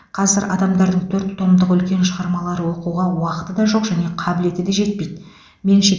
қазір адамдардың төрт томдық үлкен шығармалар оқуға уақыты да жоқ және қабілеті де жетпейді меніңше